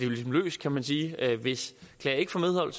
løst kan man sige hvis klager ikke får medhold